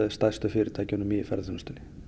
stærstu fyrirtækjunum í ferðaþjónustunni